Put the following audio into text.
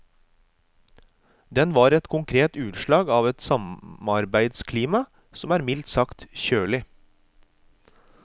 Den var ett konkret utslag av et samarbeidsklima som er mildt sagt kjølig.